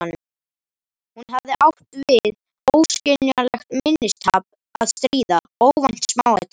Hún hafði átt við óskiljanlegt minnistap að stríða: óvænt smáatriði.